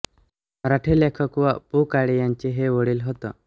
मराठी लेखक व पु काळे यांचे हे वडील होत